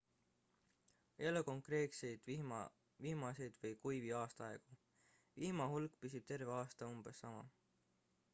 ei ole konkreetseid vihmaseid või kuivi aastaaegu vihma hulk püsib terve aasta umbes sama